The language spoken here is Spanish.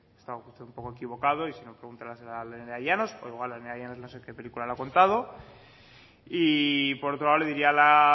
estaba usted un poco equivocado y sino pregúntele a la señora nerea llanos o igual nerea llanos no sé qué película le ha contado y por otro lado le diría a la